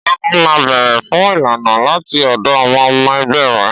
Ọ̀gágun máa ń béèrè fún ìlànà láti ọ̀dọ̀ àwọn ọmọ ẹgbẹ́ rẹ̀.